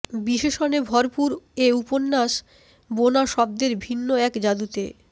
বিশেষণে ভরপুর এ উপন্যাস বোনা শব্দের ভিন্ন এক জাদুতে